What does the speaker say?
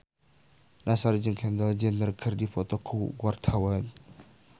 Nassar jeung Kendall Jenner keur dipoto ku wartawan